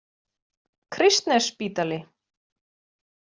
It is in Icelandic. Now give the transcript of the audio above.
Kristnesspítali